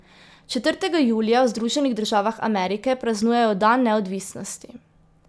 Četrtega julija v Združenih državah Amerike praznujejo dan neodvisnosti.